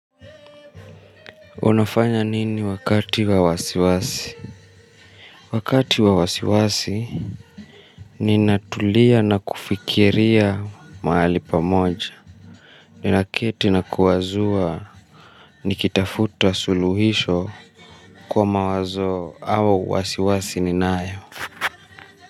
Unafanya nini wakati wa wasiwasi? Wakati wa wasiwasi ninatulia na kufikiria mahali pamoja. Naketi na kuwazua nikitafuta suluhisho kwa mawazo au wasiwasi ninayo.